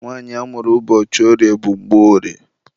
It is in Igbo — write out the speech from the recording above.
Nwanyị amụrụ ụbọchị orie bụ Mgborie.